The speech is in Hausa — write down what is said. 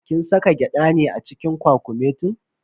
Kin saka gyada ne a cikin kwakumetin?